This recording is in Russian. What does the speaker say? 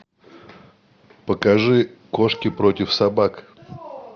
покажи кошки против собак